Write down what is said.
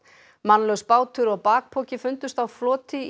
mannlaus bátur og bakpoki fundust á floti